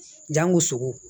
Jango sogo